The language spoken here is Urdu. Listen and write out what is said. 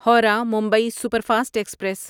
Howrah Mumbai superfast express